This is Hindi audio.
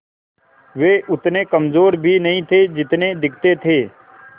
वे उतने कमज़ोर भी नहीं थे जितने दिखते थे